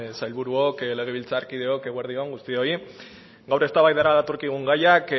sailburuok legebiltzarkideok eguerdi on guztioi gaur eztabaidara datorkigun gaiak